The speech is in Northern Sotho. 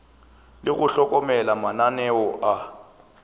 le go hlokomela mananeo a